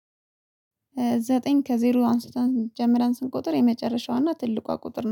ዘጠኝ ከዜሮ አንስተን ጀምረን ስንቁጥር የመጨረሻዋና ትልቋ ቁጥር ናት።